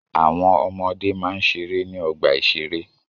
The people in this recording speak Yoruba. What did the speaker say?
Àwọn ọmọde máa ń ṣeré ní ọgbà-ìṣeré